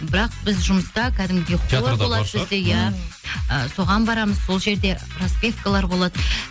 бірақ біз жұмыста кәдімгідей хор болады бізде иә ы соған барамыз сол жерде распевкалар болады